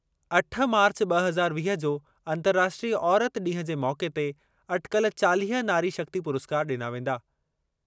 अठ मार्च ॿ हज़ार वीह जो अंतर्राष्ट्रीय औरति ॾींहुं जे मौक़े ते अटिकल चालीह नारी शक्ति पुरस्कार ॾिना वेंदा।